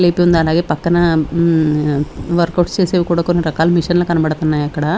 అలాగే పక్కన హ్మ్ వర్క్ ఔట్స్ చేసేవి కూడా కొన్ని రకాల మెషిన్ లు కనపడుతున్నాయి అక్కడ.